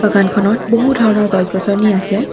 খনত বহু ধৰণৰ গছ-গছনি আছে।